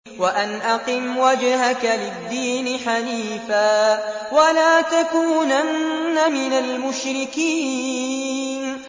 وَأَنْ أَقِمْ وَجْهَكَ لِلدِّينِ حَنِيفًا وَلَا تَكُونَنَّ مِنَ الْمُشْرِكِينَ